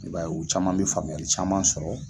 I b'a ye, u caman bi faamuyali caman sɔrɔ